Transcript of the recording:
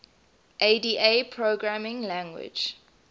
ada programming language